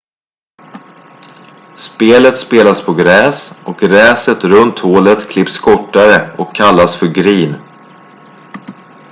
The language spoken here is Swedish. spelet spelas på gräs och gräset runt hålet klipps kortare och kallas för green